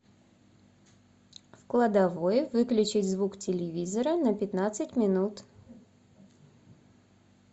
в кладовой выключить звук телевизора на пятнадцать минут